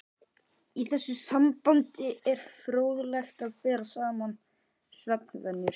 Í þessu sambandi er fróðlegt að bera saman svefnvenjur